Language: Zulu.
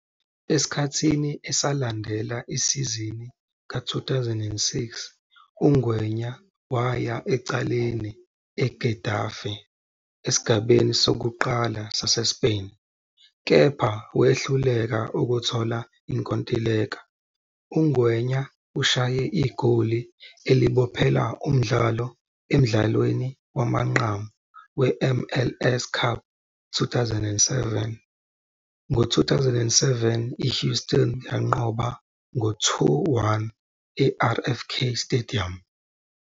Esikhathini esalandela isizini ka-2006, uNgwenya waya ecaleni eGetafe esigabeni sokuqala saseSpain, kepha wehluleka ukuthola inkontileka. UNgwenya ushaye igoli elibophela umdlalo emdlalweni wamanqamu we-MLS Cup 2007 ngo-2007 iHouston yanqoba ngo 2-1 eRFK Stadium.